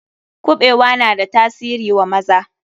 Kuɓewa na da tasiri wa maza.